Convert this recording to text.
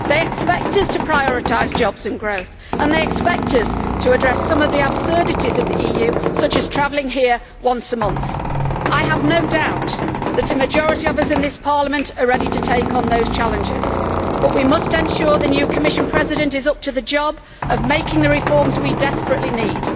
They expect us to prioritise jobs and growth, and they expect us to address some of the absurdities of the EU, such as travelling here once a month. I have no doubt that a majority of us in this Parliament are ready to take on those challenges, but we must ensure that the new Commission President is up to the job of making the reforms we desperately need.